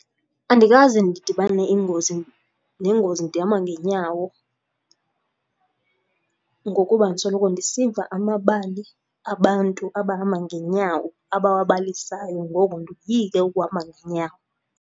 Andikaze ndidibane ingozi, nengozi ndihamba ngeenyawo ngokuba ndisoloko ndisiva amabali abantu abahamba ngeenyawo abawabalisayo ngoko ndoyike ukuhamba ngeenyawo.